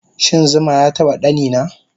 Shin zuma yataba ɗanina